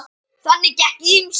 Þarna gekk á ýmsu.